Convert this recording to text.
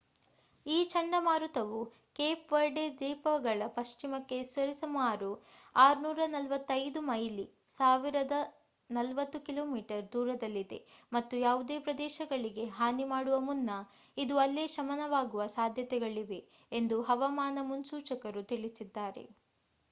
ಈ ಚಂಡಮಾರುತವು Cape Verde ದ್ವೀಪಗಳ ಪಶ್ಚಿಮಕ್ಕೆ ಸರಿಸುಮಾರು 645 ಮೈಲಿ 1040 ಕಿಮಿ ದೂರದಲ್ಲಿದೆ ಮತ್ತು ಯಾವುದೇ ಪ್ರದೇಶಗಳಿಗೆ ಹಾನಿ ಮಾಡುವ ಮುನ್ನ ಇದು ಅಲ್ಲೇ ಶಮನವಾಗುವ ಸಾದ್ಯತೆಗಳಿವೆ ಎಂದು ಹವಾಮಾನ ಮುನ್ಸೂಚಕರು ತಿಳಿಸಿದ್ದಾರೆ